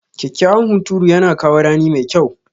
Kyakkyawan hunturu yana kawo rani mai kyau.